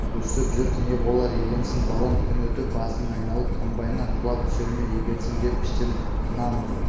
өстіп жүріп не болар екенсің балам күн өтіп басың айналып комбайннан құлап түсер ме екенсің деп іштен тынамын